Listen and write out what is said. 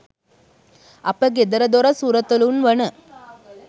අප ගෙදර දොර සුරතලුන් වන